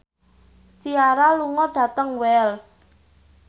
Ciara lunga dhateng Wells